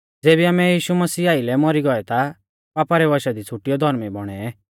ज़ेबी आमै यीशु मसीह आइलै मौरी गौऐ ता पापा रै वशा कु छ़ुटियौ धौर्मी बौणै